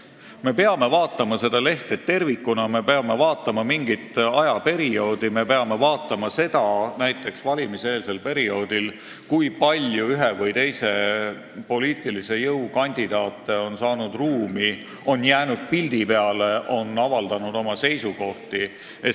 Me peame vaatama lehte tervikuna, me peame vaatama mingit ajaperioodi, me peame vaatama seda, näiteks valimiseelsel perioodil, kui palju ühe või teise poliitilise jõu kandidaate on saanud ruumi – on jäänud pildi peale või avaldanud oma seisukohti.